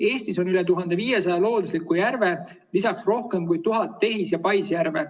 Eestis on üle 1500 loodusliku järve, lisaks rohkem kui 1000 tehis‑ ja paisjärve.